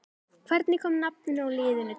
Hvernig kom nafninu á liðinu til?